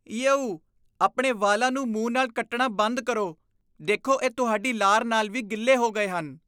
ਯੇਉ! ਆਪਣੇ ਵਾਲਾਂ ਨੂੰ ਮੂੰਹ ਨਾਲ ਕੱਟਣਾ ਬੰਦ ਕਰੋ। ਦੇਖੋ, ਇਹ ਤੁਹਾਡੀ ਲਾਰ ਨਾਲ ਵੀ ਗਿੱਲੇ ਹੋ ਗਏ ਹਨ ।